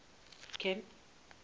camp